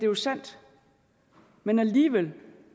jo sandt men alligevel